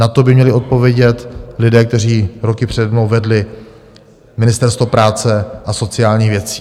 Na to by měli odpovědět lidé, kteří roky přede mnou vedli Ministerstvo práce a sociálních věcí.